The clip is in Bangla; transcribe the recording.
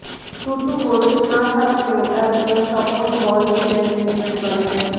টুটু বসু না থাকলেও একজন স্বপন বল ছিলেন ইস্টবেঙ্গলে